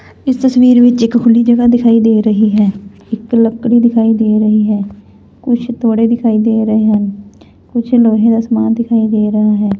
ਇਸ ਤਸਵੀਰ ਵਿੱਚ ਇੱਕ ਖੁਲੀ ਜਗਹ ਦਿਖਾਈ ਦੇ ਰਹੀ ਹੈ ਇਕ ਲੱਕੜੀ ਦਿਖਾਈ ਦੇ ਰਹੀ ਹੈ ਕੁਛ ਤੋੜੇ ਦਿਖਾਈ ਦੇ ਰਹੇ ਹਨ ਕੁਝ ਲੋਹੇ ਦਾ ਸਮਾਨ ਦਿਖਾਈ ਦੇ ਰਹਾ ਹੈ।